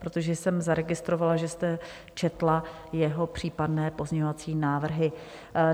protože jsem zaregistrovala, že jste četla jeho případné pozměňovací návrhy.